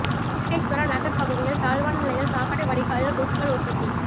வெங்கடேஸ்வரா நகர் பகுதியில் தாழ்வான நிலையில் சாக்கடை வடிகாலில் கொசுக்கள் உற்பத்தி